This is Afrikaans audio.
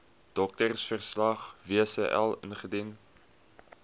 doktersverslag wcl indien